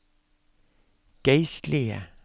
geistlige